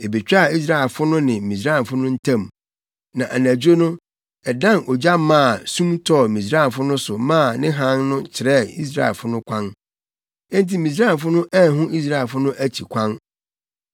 Ebetwaa Israelfo no ne Misraimfo no ntam. Na anadwo no, ɛdan ogya maa sum tɔɔ Misraimfo no so maa ne hann no kyerɛɛ Israelfo no kwan. Enti Misraimfo no anhu Israelfo no akyi kwan.